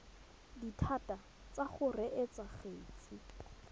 dithata tsa go reetsa kgetse